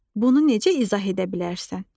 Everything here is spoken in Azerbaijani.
Bunu necə izah edə bilərsən?